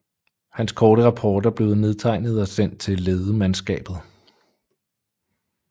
Hans korte rapporter blev nedtegnet og sendt til ledemandskabet